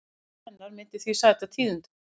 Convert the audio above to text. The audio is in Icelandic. Brotthvarf hennar myndi því sæta tíðindum